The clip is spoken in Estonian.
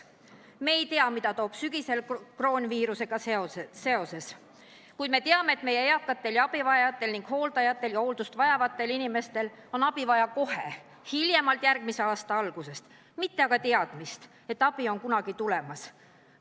Me ei tea, mida toob sügis koroonaviirusega seoses, kuid me teame, et meie eakatel ja muudel abivajajatel, meie hooldajatel ja hooldust vajavatel inimestel on abi vaja kohe, hiljemalt järgmise aasta algusest, mitte aga teadmist, et abi on kunagi tulemas.